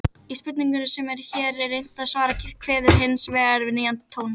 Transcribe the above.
Í spurningunni sem hér er reynt að svara kveður hins vegar við nýjan tón.